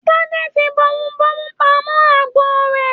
Tade fí bomubomu pamọ agbo rẹ̀.